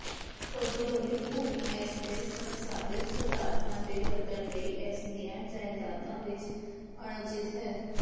ਪੌਡੋਲੋਲਿਕ ਭੂਮੀ ਇਸਦੇ ਸੰਸਾਧਿਤ ਪਦਾਰਥਾਂ ਦੇ ਵਧਣ ਲਈ ਇਸਦੀਆਂ ਜਾਇਦਾਦਾਂ ਵਿੱਚ ਅਣਉਚਿਤ ਹੈ